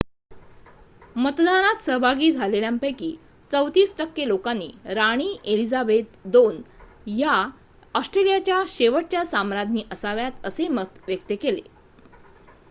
मतदानात सहभागी झालेल्यांपैकी ३४ टक्के लोकांनी राणी एलिझाबेथ ii या ऑस्ट्रेलियाच्या शेवटच्या साम्राज्ञी असाव्यात असे मत व्यक्त केले